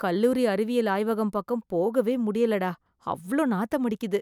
கல்லூரி அறிவியல் ஆய்வகம் பக்கம் போகவேமுடியலடா... அவ்ளோ நாத்தமடிக்குது.